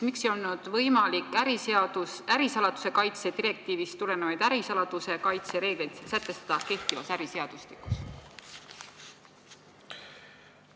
Miks ei olnud võimalik ärisaladuse kaitse direktiivist tulenevaid ärisaladuse kaitse reegleid sätestada kehtivas äriseadustikus?